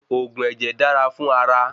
Òògùn ẹ̀jẹ̀ dára fún ara